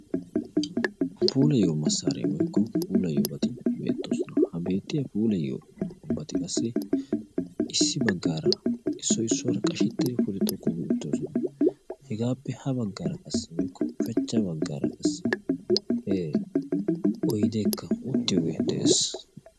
Puulayiyo massaree woykko puulayiyobati bettoosona. Ha beetiya puulayiyobati qassi issi baggaara issoy issuwara qashettidi pude xoqqu gi uttidosona. Hegaappe ha baggaara qassi woykko ushshachcha baggaara oydekka uttiyogee de'ees.